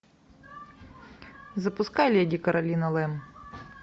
запускай леди каролина лэм